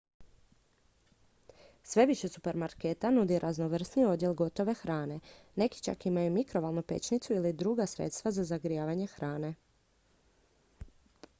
sve više supermarketa nudi raznovrsniji odjel gotove hrane neki čak imaju mikrovalnu pećnicu ili druga sredstva za zagrijavanje hrane